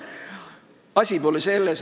Aga asi pole selles.